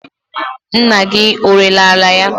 Nna gi ọrere ala ya?